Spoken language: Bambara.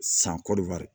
San